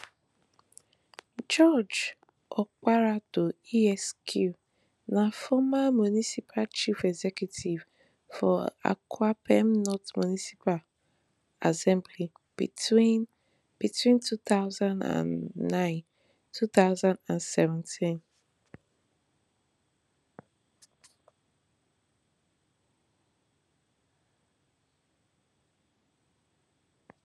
george opareaddo esq na former municipaal chief executive for akuapem north municipal assembly between between two thousand and nine two thousand and seventeen